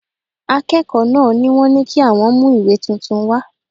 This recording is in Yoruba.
Akẹ́kọ̀ọ́ náà ni wọ́n ní kí àwọn mú ìwé tuntun wá